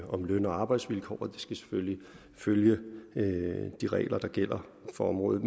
om løn og arbejdsvilkår og de skal selvfølgelig følge de regler der gælder for området